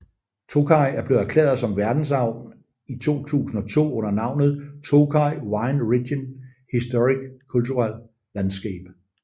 Tokaj er blevet erklæret som verdensarv i 2002 under navnet Tokaj Wine Region Historic Cultural Landscape